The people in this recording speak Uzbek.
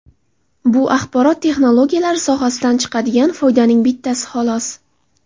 Bu axborot texnologiyalari sohasidan chiqadigan foydaning bittasi, xolos.